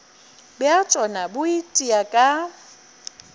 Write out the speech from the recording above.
bja tšona bo itia ka